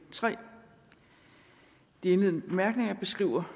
det sker må